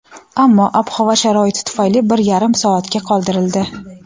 ammo ob-havo sharoiti tufayli bir yarim soatga qoldirildi.